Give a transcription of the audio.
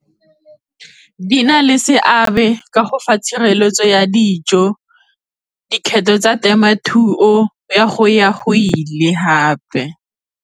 Di na le seabe ka go fa tshireletso ya dijo dikgetho tsa temothuo ya go ya go ile hape.